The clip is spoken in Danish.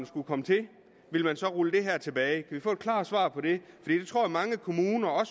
skulle komme til vil rulle det her tilbage vi få et klart svar på det jeg tror at mange kommuner og